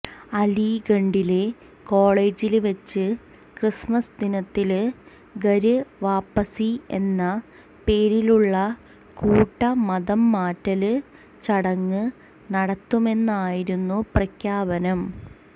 അലിഗഢിലെ കോളജില് വെച്ച് ക്രിസ്മസ് ദിനത്തില് ഘര് വാപസി എന്ന പേരിലുള്ള കൂട്ട മതംമാറ്റല് ചടങ്ങ് നടത്തുമെന്നായിരുന്നു പ്രഖ്യാപനം